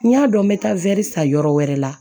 N y'a dɔn n bɛ taa san yɔrɔ wɛrɛ la